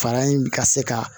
Fara in bi ka se ka